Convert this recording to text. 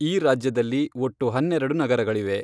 ಈ ರಾಜ್ಯದಲ್ಲಿ ಒಟ್ಟು ಹನ್ನೆರೆಡು ನಗರಗಳಿವೆ.